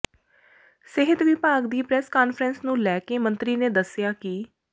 ਸਿਹਤ ਵਿਭਾਗ ਦੀ ਪ੍ਰੈਸ ਕਾਨਫਰੰਸ ਨੂੰ ਲੈ ਕੇ ਮੰਤਰੀ ਨੇ ਦਸਿਆ ਕਿ